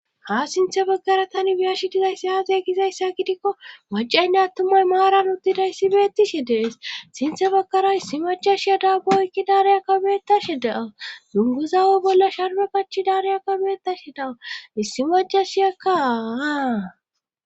Ha sinthe baggara tani biyashi dizaysse aaze gizayssa gidikko macaynne attumay maaran uttida issi beettishe dees sinthe bagkara issi majashiya daagooykki daareya kabeetashe da'aw dunguzawo bolla sharme pachi daariya kabeetashe daaw issi majashiyakkaaa.